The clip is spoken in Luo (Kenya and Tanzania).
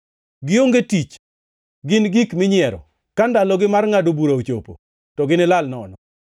Gionge tich, gin gik minyiero; ka ndalogi mar ngʼado bura ochopo, to ginilal nono.